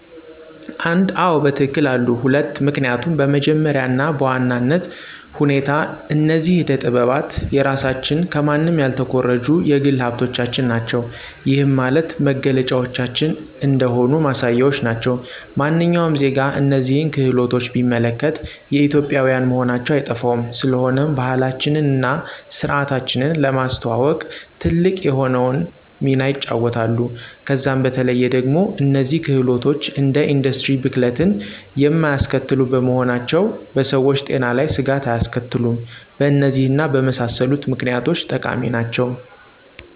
1, አዎ በትክክል አሉ፤ 2, ምክኒያቱም በመጀመሪያ እና በዋናነት ሁኔታ እነዚህ አደ ጠጥባት የራሳችን ከማንም ያልተኮረጁ የግል ሀብቶቻችን ናቸው። ይህም ማለት መገለጫዎቻችን እንደሆኑ ማሳያዎች ናቸው። ማንኛውም ዜጋ እነዚህን ክህሎቶች ቢመለከት የኢትዮጵዊያን መሆናቸው አይጠፋውም፤ ስለሆነም ባህላችንን እና ስርዓታችንን ለማስተዋወቅ ትልቅ የሆነውን ሚና ይጫወታሉ። ከዛም በተለዬ ደግሞ እነዚህ ክህሎቶች እንደ ኢንዱስትሪ ብክለትን የማያስከትሉ በመሆናቸው በሰዎች ጤና ላይ ስጋት አያስከትሉም። በእነዚህ እና በመሳሰሉት ምክኒያቶች ጠቃሚ ናቸው።